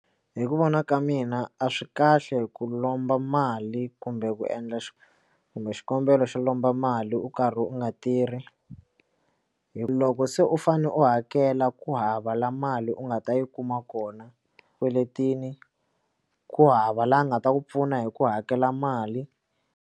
Hi ku vona ka mina a swi kahle ku lomba mali kumbe ku endla kumbe xikombelo xo lomba mali u kari u nga tirhi hi loko se u fane u hakela ku hava la mali u nga ta yi kuma kona swikweletini ku hava laha a nga ta ku pfuna hi ku hakela mali.